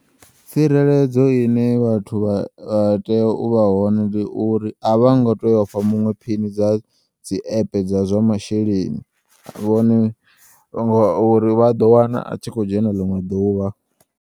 Tsireledzo ine vhathu vha tea uvha hone ndi uri a vho ngo tea ufha muṅwe phini dza dzi app dza zwa masheleni uri vha ḓo wana a tshi kho u dzhena ḽiṅwe ḓuvha.